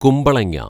കുമ്പളങ്ങ